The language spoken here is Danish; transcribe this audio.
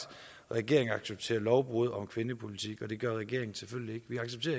at regeringen accepterer lovbrud om kvindepolitik og det gør regeringen selvfølgelig